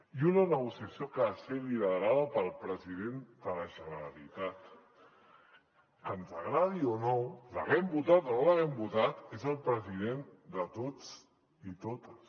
i una negociació que ha de ser liderada pel president de la generalitat que ens agradi o no l’haguem votat o no l’haguem votat és el president de tots i totes